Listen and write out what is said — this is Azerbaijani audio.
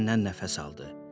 Dərindən nəfəs aldı.